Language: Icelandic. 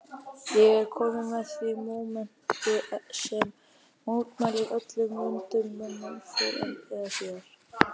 Ég er kominn að því mómenti sem mætir öllum vondum mönnum fyrr eða síðar